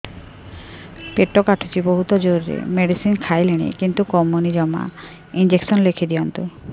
ପେଟ କାଟୁଛି ବହୁତ ଜୋରରେ ମେଡିସିନ ଖାଇଲିଣି କିନ୍ତୁ କମୁନି ଜମା ଇଂଜେକସନ ଲେଖିଦିଅନ୍ତୁ